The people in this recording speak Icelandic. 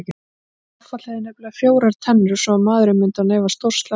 Gaffall hefði nefnilega fjórar tennur svo maðurinn myndi án efa stórslasast.